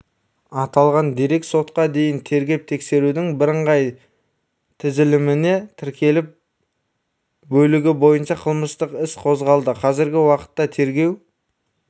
аталған дерек сотқа дейінгі тергеп-тексерудің бірыңғай тізіліміне тіркеліп бөлігі бойынша қылмыстық іс қозғалды қазіргі уақытта тергеу